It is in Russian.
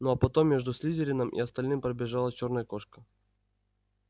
ну а потом между слизерином и остальным пробежала чёрная кошка